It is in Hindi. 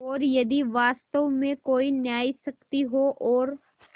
और यदि वास्तव में कोई न्यायशक्ति हो और